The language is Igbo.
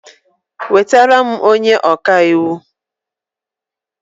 Nweta m onye ọka iwu!